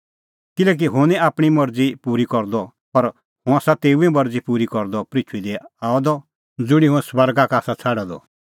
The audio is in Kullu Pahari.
किल्हैकि हुंह निं आपणीं मरज़ी पूरी करदअ पर हुंह आसा तेऊए मरज़ी पूरी करदअ पृथूई दी आअ द ज़ुंणी हुंह स्वर्गा का आसा छ़ाडअ द